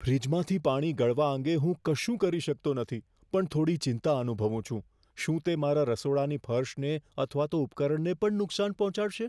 ફ્રિજમાંથી પાણી ગળવા અંગે હું કશું ન કરી શકતો નથી પણ થોડી ચિંતા અનુભવું છું, શું તે મારા રસોડાની ફર્શને અથવા તો ઉપકરણને પણ નુકસાન પહોંચાડશે?